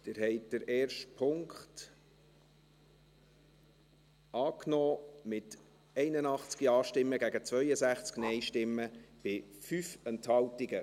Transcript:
Sie haben den ersten Punkt angenommen, mit 81 Ja- gegen 62 Nein-Stimmen bei 5 Enthaltungen.